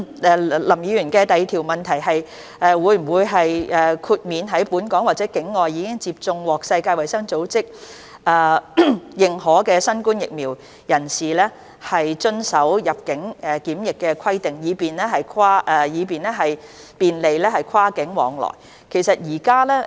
林議員的主體質詢第二部分是：會否豁免在本港或境外已接種獲世界衞生組織認可新冠疫苗的人士遵守入境檢疫規定，以便利跨境往來？